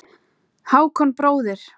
Hákon bróðir.